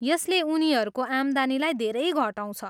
यसले उनीहरूको आम्दानीलाई धेरै घटाउँछ।